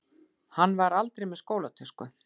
Hann var aldrei með skólatösku.